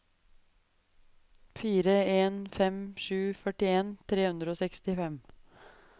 fire en fem sju førtien tre hundre og sekstifem